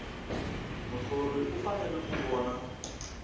muthori u fanele ku vona